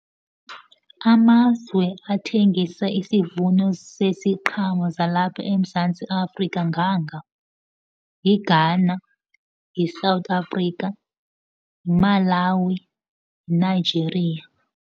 Amazwe athengisa isivuno seziqhamo zalapha eMzantsi Afrika nganga, yiGhana, yiSouth Africa, yiMalawi, yiNigeria.